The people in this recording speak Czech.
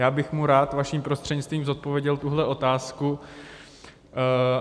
Já bych mu rád vaším prostřednictvím zodpověděl tuhle otázku.